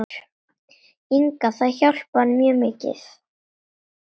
Inga Það hjálpar mjög mikið.